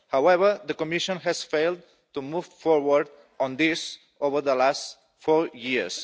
However, the Commission has failed to move forward on this over the last four years.